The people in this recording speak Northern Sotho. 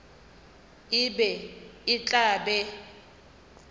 e be e tla be